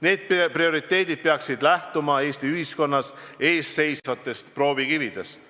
Need prioriteedid peaksid lähtuma Eesti ühiskonna ees seisvatest proovikividest.